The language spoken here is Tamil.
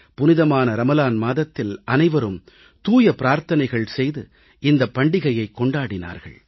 புனிதமான ரமலான் மாதத்தில் அனைவரும் தூய பிரார்த்தனைகள் செய்து இந்தப் பண்டிகையைக் கொண்டாடினார்கள்